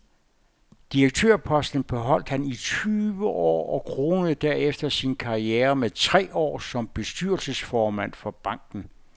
Direktørposten beholdt han i tyve år og kronede derefter sin karriere med tre år som bestyrelsesformand for banken.